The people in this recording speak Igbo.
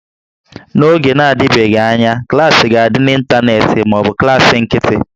N'oge na-adịbeghị anya, klaasị ga-adị n'ịntanetị ma ọ bụ klaasị nkịtị